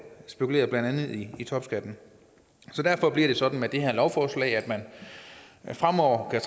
spekulere blandt andet i topskatten så derfor bliver det sådan med det her lovforslag at man fremover kan